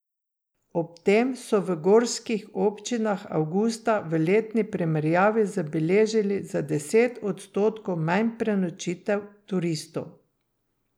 Ob tem so v gorskih občinah avgusta v letni primerjavi zabeležili za deset odstotkov manj prenočitev turistov.